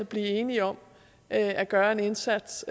blive enige om at gøre en indsats